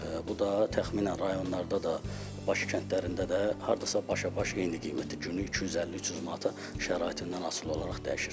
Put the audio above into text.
Bu da təxminən rayonlarda da, Bakı kəndlərində də hardasa başa-baş eyni qiymətə günü 250-300 manata şəraitindən asılı olaraq dəyişir.